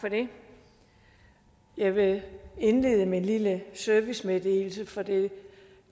for det jeg vil indlede med en lille servicemeddelelse for det